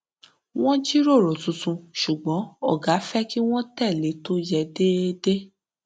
wọn jíròrò tuntun ṣùgbọn ògá fẹ kí wọn tẹlé tó yẹ déédéé